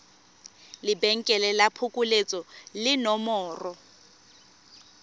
lebenkele la phokoletso le nomoro